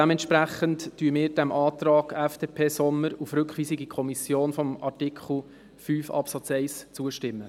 Dementsprechend stimmen wir dem Antrag FDP/Sommer auf Rückweisung in die Kommission von Artikel 5 Absatz 1 zu.